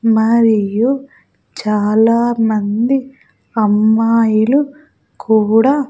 మరియు చాలామంది అమ్మాయిలు కూడా--